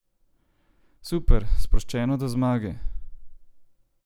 Super, sproščeno do zmage!